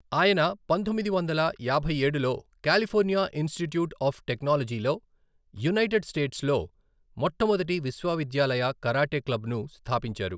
ఆయన పంతొమ్మిది వందల యాభైఏడులో కాలిఫోర్నియా ఇన్స్టిట్యూట్ ఆఫ్ టెక్నాలజీలో యునైటెడ్ స్టేట్స్లో మొట్టమొదటి విశ్వవిద్యాలయ కరాటే క్లబ్ను స్థాపించారు.